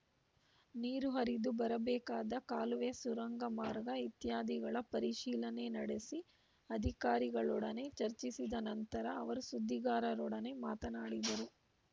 ನೀರು ಹರಿದು ಬರಬೇಕಾದ ಕಾಲುವೆ ಸುರಂಗ ಮಾರ್ಗ ಇತ್ಯಾದಿಗಳ ಪರಿಶೀಲಿನೆ ನಡೆಸಿ ಅಧಿಕಾರಿಗಳೊಡನೆ ಚರ್ಚಿಸಿದ ನಂತರ ಅವರು ಸುದ್ದಿಗಾರರೊಡನೆ ಮಾತನಾಡಿದರು